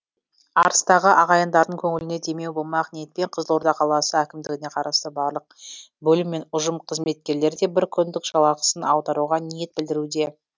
арыстағы ағайындардың көңіліне демеу болмақ ниетпен қызылорда қаласы әкімдігіне қарасты барлық бөлім мен ұжым қызметкерлері де бір күндік жалақысын аударуға ниет білдіруде